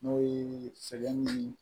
N'o ye sɛgɛn nii